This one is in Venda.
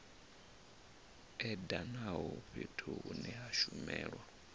edanaho fhethu hune ha shumelwa